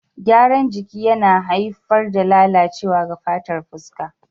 Gyaran jiki yana haifar da lalacewa ga fatar fuska.